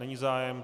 Není zájem.